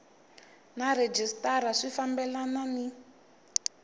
na rhejisitara swi fambelani ni